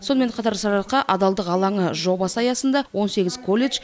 сонымен қатар сарыарқа адалдық алаңы жобасы аясында он сегіз колледж